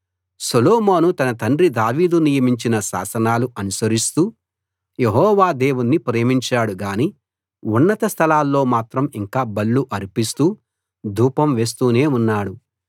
సొలొమోను తన తండ్రి దావీదు నియమించిన శాసనాలు అనుసరిస్తూ యెహోవా దేవుణ్ణి ప్రేమించాడు గాని ఉన్నత స్థలాల్లో మాత్రం ఇంకా బలులు అర్పిస్తూ ధూపం వేస్తూనే ఉన్నాడు